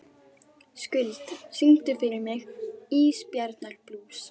Skuld, syngdu fyrir mig „Ísbjarnarblús“.